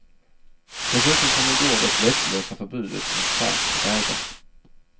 Dessutom kom i går det vettlösa förbudet mot salt på vägarna.